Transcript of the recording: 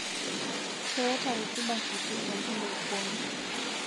Keaata rutuba kitii tenkulupuoni.